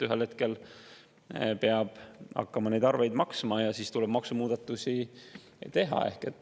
Ühel hetkel peab hakkama neid arveid maksma ja siis tuleb maksumuudatusi teha.